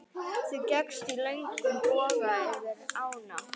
Þú gekkst í löngum boga yfir ána.